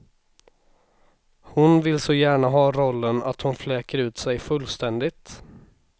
Hon vill så gärna ha rollen att hon fläker ut sig fullständigt.